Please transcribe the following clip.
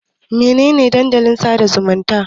Mene ne Dandalin sada zumunta?